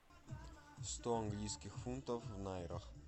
сто английских фунтов в найрах